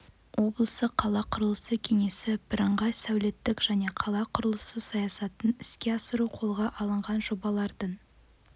облысы қала құрылысы кеңесі бірыңғай сәулеттік және қала құрылысы саясатын іске асыру қолға алынған жобалардың